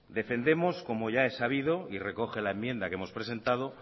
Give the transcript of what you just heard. defendemos como ya he sabido y recoge la enmienda que hemos presentado